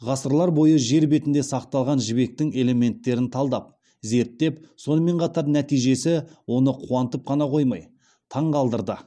ғасырлар бойы жер бетінде сақталған жібектің элементтерін талдап зерттеп сонымен қатар нәтижесі оны қуантып қана қоймай таңғалдырды